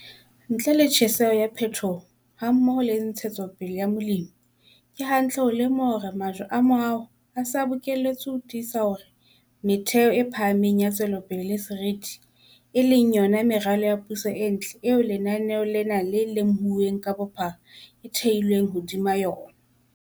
Ntle le tjheseho ya phetoho, hammoho le ntshetsopele ya Molemi, ke hantle ho lemoha hore majwe a moaho a se a bokelletswe ho tiisa hore metheho e phahameng ya tswelopele le seriti, e leng yona meralo ya puso e ntle eo lenaneo lena le lemohuweng ka bophara, e theilweng hodima ona.